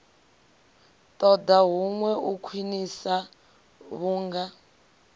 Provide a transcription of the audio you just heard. ṱoḓa huṅwe u khwiṋiswa vhunga